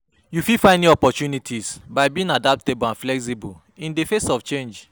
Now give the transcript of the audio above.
You fit find new opportunties by being adaptable and flexible in di face of change.